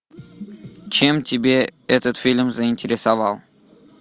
чем тебя этот фильм заинтересовал